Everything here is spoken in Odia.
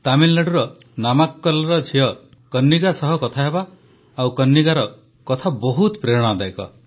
ତାମିଲନାଡୁର ନାମାକ୍କଲର ଝିଅ କନିଗ୍ଗା ସହ କଥା ହେବା ଆଉ କନିଗ୍ଗାର କଥା ବହୁତ ପ୍ରେରଣାଦାୟକ